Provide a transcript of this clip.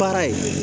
Baara ye